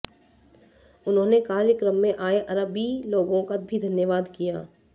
उन्होंने कार्यक्रम में आए अरबी लोगों का भी धन्यवाद किया